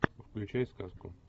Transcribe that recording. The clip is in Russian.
включай сказку